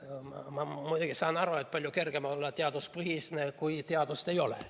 Ma muidugi saan aru, et palju kergem on olla teaduspõhine, kui teadust ei ole.